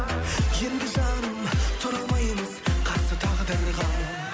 енді жаным тұра алмаймыз қарсы тағдырға